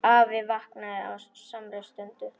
Afi vaknaði á samri stundu.